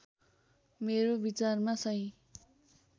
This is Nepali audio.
मेरो विचारमा सही